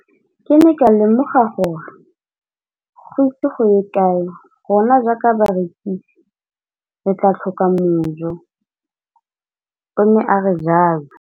Ke ne ka lemoga gore go ise go ye kae rona jaaka barekise re tla tlhoka mojo, o ne a re jalo.